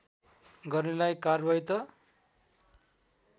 गर्नेलाई कार्वाही त